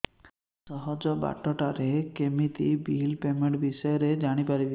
ସହଜ ବାଟ ରେ କେମିତି ବିଲ୍ ପେମେଣ୍ଟ ବିଷୟ ରେ ଜାଣି ପାରିବି